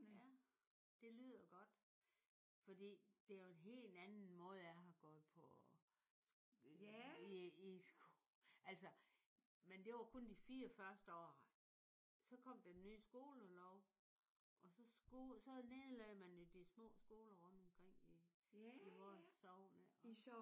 Det lyder godt. Fordi det er jo en helt anden måde at jeg har gået på i i altså men det var kun de 4 første år. Så kom den nye skolelov og så nedlagde man de små skoler rundt omkring i vores sogn her